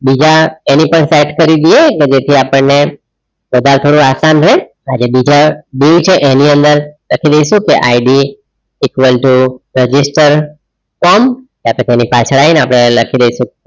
બીજા એની પર set કરી દઈએ કે જેથી આપણને કદાચ થોડું આસાન રે આ જે બીજા dieu છે એની અંદર લખી દઈશું કે IDequal to register form કા તો એની પાછળ આવી આપણે લખી દઈશું.